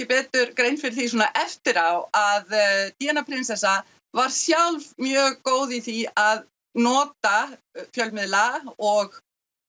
betur grein fyrir því eftir á að Díana prinsessa var sjálf mjög góð í því að nota fjölmiðla og